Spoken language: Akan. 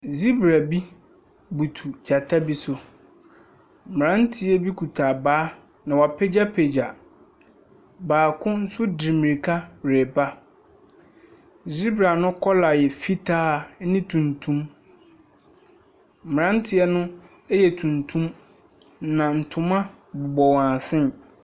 Zebra bi butu gyata bi so, mmeranteɛ bi kita abaa na wɔapagyapagya, baako nso de mirika reba. Zebra ne colour no yɛ fitaa ne tuntum, mmeranteɛ no yɛ tuntum, na ntoma bobɔ wɔn asen.